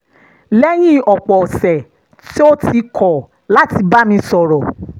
lẹ́yìn ọ̀pọ̀ ọ̀sẹ̀ tó ti kọ̀ láti bá mi sọ̀rọ̀